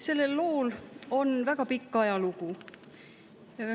Sellel lool on väga pikk ajalugu.